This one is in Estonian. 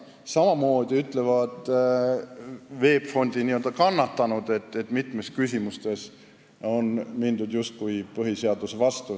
Ja ka VEB Fondi n-ö kannatanud väidavad, et mitmes küsimuses on mindud põhiseaduse vastu.